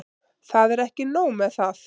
Það er ekki nóg með það.